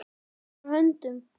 Hann fórnar höndum.